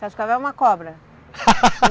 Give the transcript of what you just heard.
Cascavel é uma cobra.